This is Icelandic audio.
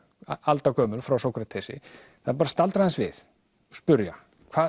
aldagömul frá Sókratesi það er bara að staldra aðeins við og spyrja